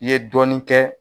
I ye dɔɔnin kɛ